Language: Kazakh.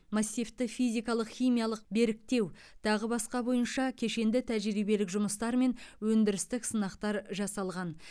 массивті физикалық химиялық беріктеу тағы басқа бойынша кешенді тәжірибелік жұмыстар мен өндірістік сынақтар жасалған